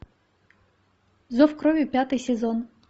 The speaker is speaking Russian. зов крови пятый сезон